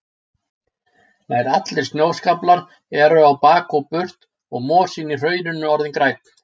Nær allir snjóskaflar eru á bak og burt og mosinn í hrauninu orðinn grænn.